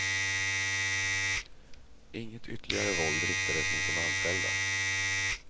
Inget ytterligare våld riktades mot de anställda.